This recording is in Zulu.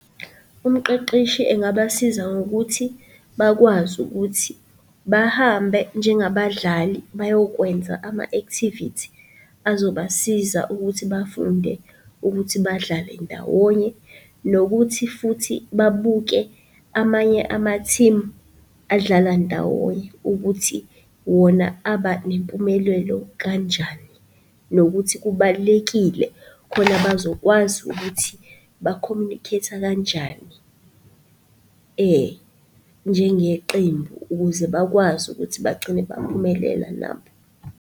Umqeqeshi engabasiza ngokuthi bakwazi ukuthi bahambe njengabadlali bayokwenza ama-activity azobasiza ukuthi bafunde ukuthi badlale ndawonye, nokuthi futhi babuke amanye ama-team adlala ndawonye ukuthi wona aba nempumelelo kanjani, nokuthi kubalulekile, khona bazokwazi ukuthi ba-communicate-a kanjani njengeqembu ukuze bakwazi ukuthi bagcine baphumelela nabo.